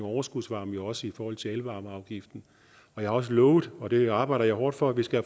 overskudsvarme også i forhold til elvarmeafgiften jeg har også lovet og det arbejder jeg hårdt for at vi skal